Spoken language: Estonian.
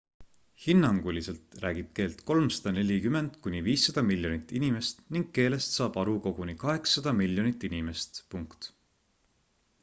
hinnanguliselt räägib keelt 340 kuni 500 miljonit inimest ning keelest saab aru koguni 800 miljonit inimest